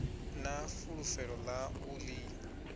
na fulufhelo ḽa u ḓi